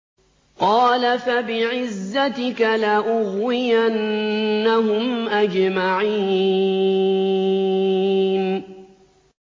قَالَ فَبِعِزَّتِكَ لَأُغْوِيَنَّهُمْ أَجْمَعِينَ